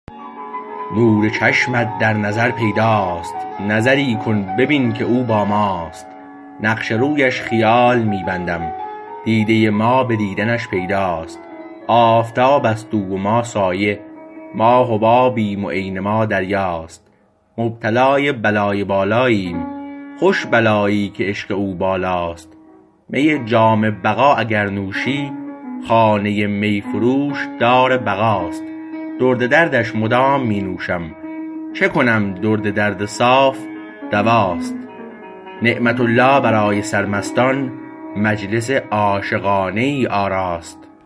نور چشمت در نظر پیداست نظری کن ببین که او با ماست نقش رویش خیال می بندم دیده ما به دیدنش پیداست آفتابست او و ما سایه ما حبابیم و عین ما دریاست مبتلای بلای بالاییم خوش بلایی که عشق او بالاست می جام بقا اگر نوشی خانه میفروش دار بقاست درد درش مدام می نوشم چه کنم درد درد صاف دواست نعمت الله برای سرمستان مجلس عاشقانه ای آراست